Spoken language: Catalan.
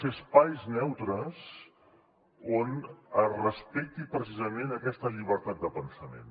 sí sí on es respecti precisament aquesta llibertat de pensament